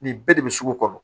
Nin bɛɛ de bɛ sugu kɔnɔ